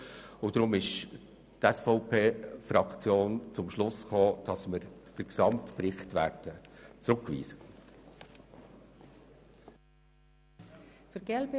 Deshalb ist die SVP-Fraktion zum Schluss gekommen, dass wir den gesamten Bericht zurückweisen werden.